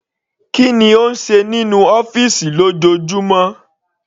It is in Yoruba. Kí ni ó ń ṣe nínú ọ́fìsì lójoojúmọ́?